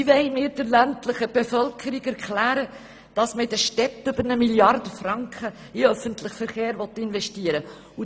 «Wie wollen wir der ländlichen Bevölkerung erklären, dass man in den Städten über eine Milliarde Franken in den öffentlichen Verkehr investieren will?